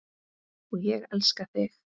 Og ég elska þig!